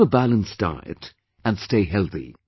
Have a balanced diet and stay healthy